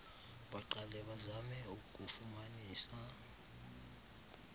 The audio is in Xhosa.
baqale bazame ukufumanisa